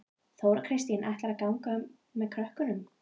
Þóra Kristín: Ætlar þú að ganga með krökkunum?